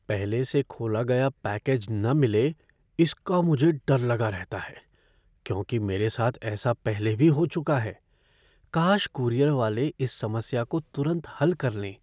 पहले से खोला गया पैकेज न मिले इसका मुझे डर लगा रहता है क्योंकि मेरे साथ ऐसा पहले भी हो चुका है, काश कूरियर वाले इस समस्या को तुरंत हल कर लें।